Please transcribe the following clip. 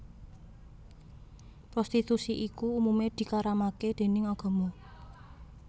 Prostitusi iku umumé dikaramaké déning agama